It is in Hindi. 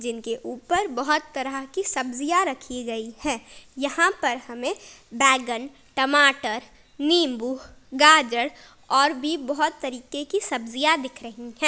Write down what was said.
जिनके के ऊपर बहुत तरह की सब्जियां रखी गई है यहां पर हमें बैगन टमाटर नींबू गाजर और भी बहुत तरीके की सब्जियां दिख रही है।